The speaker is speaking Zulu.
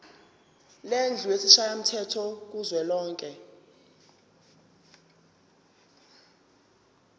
lendlu yesishayamthetho kuzwelonke